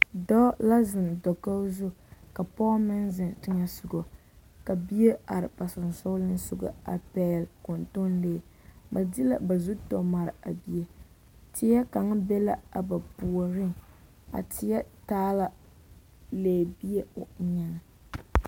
Dɔɔ la zeŋ dakogi zu ka pɔge meŋ zeŋ teŋɛsogɔ ka bie are ba sensoolesogɔ a pɛgele kɔntɔnlee, ba de la ba zu tɔmare a bie, teɛ kaŋa be la a ba puoriŋ, a teɛ taa la lɛɛbie o eŋɛŋ.